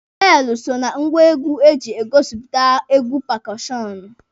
Beelụ so na ngwa egwu eji egosipụta egwu pakọọshọnụ.